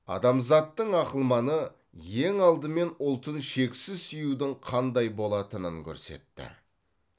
адамзаттың ақылманы ең алдымен ұлтын шексіз сүюдің қандай болатынын көрсетті